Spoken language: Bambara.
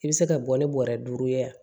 I bɛ se ka bɔ ni bɔrɛ duuru ye yan